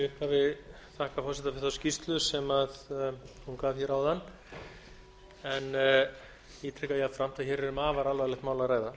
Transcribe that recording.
upphafi þakka forseta fyrir þá skýrslu sem hún gaf áðan og ég tek jafnframt fram að hér er um afar alvarlegt mál að ræða